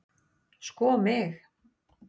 sko mig!